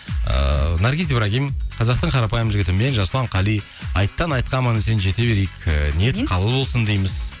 ыыы наргиз ибрагим қазақтың қарапайым жігіті мен жасұлан қали айттан айтқа аман есен жете берейік ыыы ниет қабыл болсын дейміз